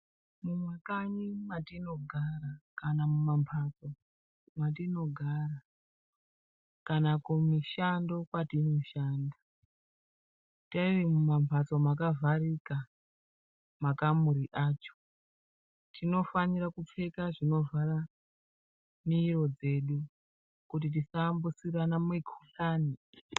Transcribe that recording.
Mumakanyi mwatinogara kana mumamhatso mwatinogara, kana kumushando kwatinoshanda tiri mumamhatso akavharika makamuri acho, tinofanira kupfeka zvinovhara miro dzedu kuti tisaambutsirana mikuhlani.